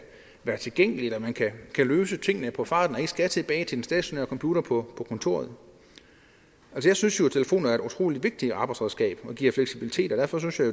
være tilgængelig at man kan løse tingene er på farten og ikke skal tilbage til den stationære computer på kontoret jeg synes jo at telefoner er et utrolig vigtigt arbejdsredskab som giver fleksibilitet og derfor synes jeg